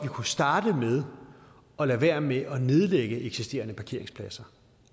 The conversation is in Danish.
kunne starte med at lade være med at nedlægge eksisterende parkeringspladser